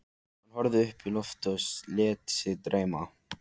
Hann horfði upp í loftið og lét sig dreyma.